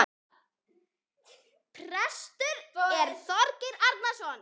Prestur er Þorgeir Arason.